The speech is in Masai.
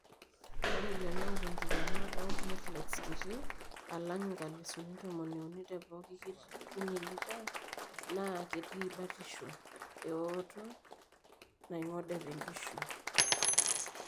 Ore lelo oata enkikena oomplateletes kiti alang inkalisuni tomoniuni tepooki kinyi lita naa ketii batisho eooto naing'ode enkishui.